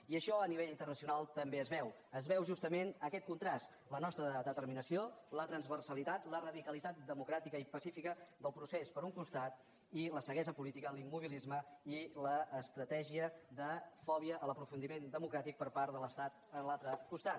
i això a nivell internacional també es veu es veu justament aquest contrast la nostra determinació la transversalitat la radicalitat democràtica i pacifica del procés per un costat i la ceguesa política l’immobilisme i l’estratègia de fòbia a l’aprofundiment democràtic per part de l’estat en l’altre costat